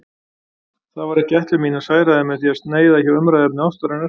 Það var ekki ætlun mín að særa þig með því að sneiða hjá umræðuefni ástarinnar.